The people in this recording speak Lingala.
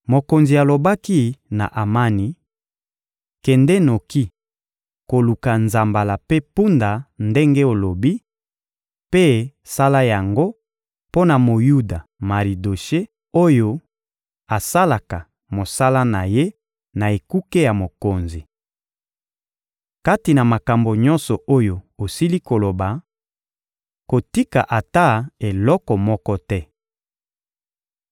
Mokonzi alobaki na Amani: — Kende noki koluka nzambala mpe mpunda ndenge olobi, mpe sala yango mpo na Moyuda Maridoshe oyo asalaka mosala na ye na ekuke ya mokonzi. Kati na makambo nyonso oyo osili koloba, kotika ata eloko moko te.